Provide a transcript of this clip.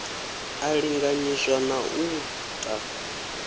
a linganyiswa na u ta